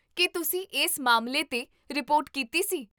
ਕੀ ਤੁਸੀਂ ਇਸ ਮਾਮਲੇ 'ਤੇ ਰਿਪੋਰਟ ਕੀਤੀ ਸੀ?